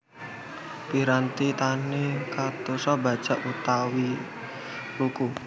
Piranti tani kadosta bajak utawi luku